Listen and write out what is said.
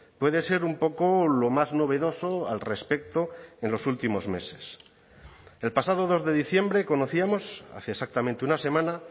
puede ser un poco lo más novedoso al respecto en los últimos meses el pasado dos de diciembre conocíamos hace exactamente una semana